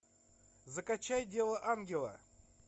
закачай дело ангела